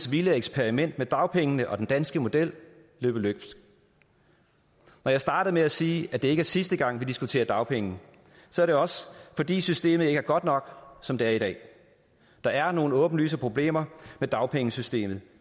vilde eksperiment med dagpengene og den danske model løbe løbsk når jeg startede med at sige at det ikke er sidste gang vi diskuterer dagpenge så er det også fordi systemet ikke er godt nok som det er i dag der er nogle åbenlyse problemer med dagpengesystemet